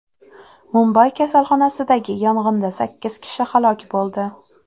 Mumbay kasalxonasidagi yong‘inda sakkiz kishi halok bo‘ldi.